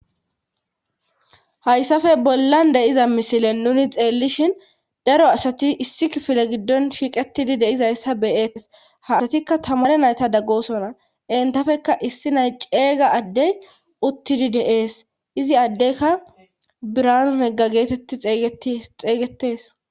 hayssafe bollan de'iza misile nuni xeellishhin daro asati issi kifile giddon shiiqetidi deizayssa beyetes ha asatikka tamare naytada gosona entafeka issi nay cega addey uttidi deees izi addeykka biranu nega geetetti xeeygetees.